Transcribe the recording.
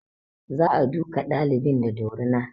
Za a duka ɗalibin da dorina